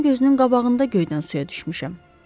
Onların gözünün qabağında göydən suya düşmüşəm.